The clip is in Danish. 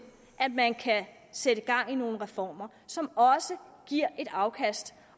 at man kan sætte gang i nogle reformer som også giver et afkast